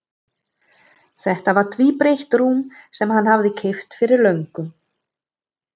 Þetta var tvíbreitt rúm sem hann hafði keypt fyrir löngu.